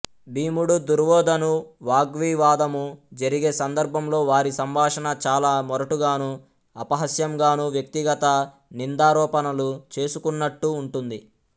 భీముడు దుర్వోధను వాగ్వివాదము జరిగే సందర్భంలో వారి సంభాషణ చాల మొరటుగాను అపహాస్యంగాను వ్వక్తిగత నిందారోపణలు చేసుకున్నట్టు వుంటుంది